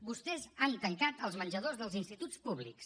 vostès han tancat els menjadors dels instituts públics